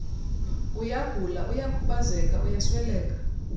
uyagula uyakhubazeka uyasweleka